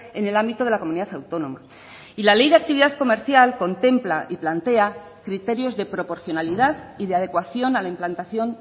en el ámbito de la comunidad autónoma y la ley de actividad comercial contempla y plantea criterios de proporcionalidad y de adecuación a la implantación